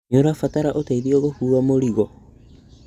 Nĩũrabatara ũteithio gũkũa mũrigo?